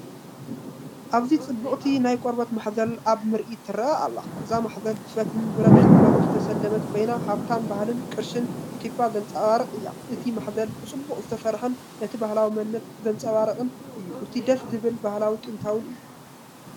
ኣብዚ ጽብቕቲ ናይ ቆርበት ማሕዘል ኣብ ምርኢት ትረአ ኣላ። እዛ ማሕዘል ብፈትልን ብረት ስልማትን ዝተሰለመት ኮይና ሃብታም ባህልን ቅርስን ኢትዮጵያ ዘንጸባርቕ እያ። እቲ ማሕዘል ብጽቡቕ ዝተሰርሐን ነቲ ባህላዊ መንነት ዘንጸባርቕን እዩ። እቲ ደስ ዝበል ባህላውን ጥንታውን እዩ።